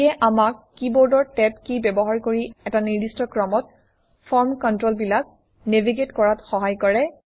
ইয়ে আমাক কীবৰ্ডৰ টেব কী ব্যৱহাৰ কৰি এটা নিৰ্দিষ্ট ক্ৰমত ফৰ্ম কণ্ট্ৰলবিলাক নেভিগেট কৰাত সহায় কৰে